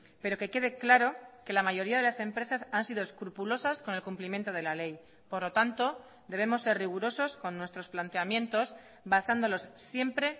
pero que quede claro que la mayoría de las empresas han sido escrupulosas con el cumplimiento de la ley por lo tanto debemos ser rigurosos con nuestros planteamientos basándolos siempre